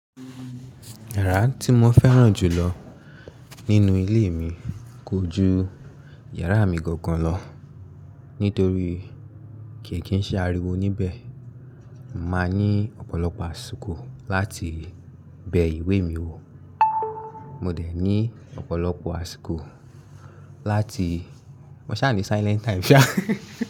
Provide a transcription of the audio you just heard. Yàrá tí mo fẹ́ràn jù lọ nínú ilé mi kò ju yàrá mi gangan lọ nítorí kì í ṣe ariwo níbẹ̀. Máa ní ọ̀pọ̀lọpọ̀ àsìkò láti bẹ ìwé mi wò. Mo dẹ̀ ní ọ̀pọ̀lọpọ̀ àsìkò láti, mo ṣà ní silent time ṣá.